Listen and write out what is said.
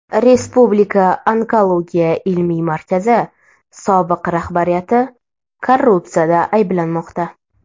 Respublika onkologiya ilmiy markazi sobiq rahbariyati korrupsiyada ayblanmoqda.